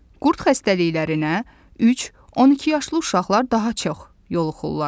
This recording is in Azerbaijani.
Qurd xəstəliklərinə 3-12 yaşlı uşaqlar daha çox yoluxulurlar.